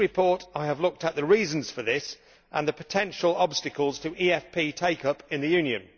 In the report I have looked at the reasons for this and at the potential obstacles to EFP take up in the Union.